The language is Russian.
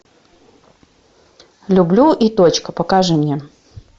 люблю и точка покажи мне